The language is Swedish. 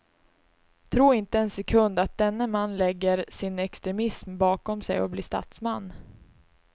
Tro inte en sekund att denne man lägger sin extremism bakom sig och blir statsman.